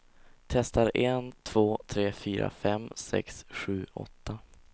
Testar en två tre fyra fem sex sju åtta.